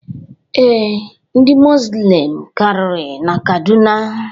Ee, Ndị muzlim karịrị na Kaduna.